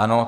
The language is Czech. Ano.